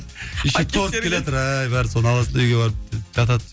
еще торт келатыр соны аласың да үйге барып жатады